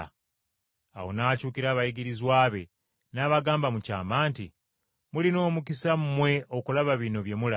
Awo n’akyukira abayigirizwa be n’abagamba mu kyama nti, “Mulina omukisa mmwe okulaba bino bye mulaba.